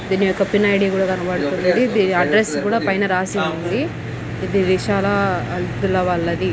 ధీని ఒక pin I D ధీని కూడా కనబడుతుంది అడ్రెస్ కూడా పైన రాశి ఉంది ఇధి విషయాల పిల్లవాలధి--